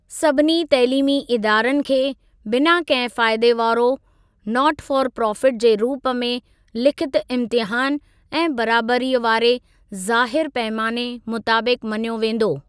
सभिनी तइलीमी इदारनि खे बिना कहिं फ़ाइदे वारो ‘नॉट फॉर प्रॉफिट' जे रूप में लिखित इम्तिहानु ऐं बराबरीअ वारे ज़ाहिर पैमाने मुताबिक मञियो वेंदो।